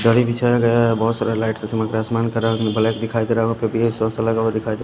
गाड़ी बिछाया गया है बहुत सारा लाइट का सामान सामान का रंग ब्लैक दिखाई दे रहा लगा हुआ दिखाई दे--